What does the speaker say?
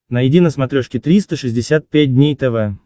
найди на смотрешке триста шестьдесят пять дней тв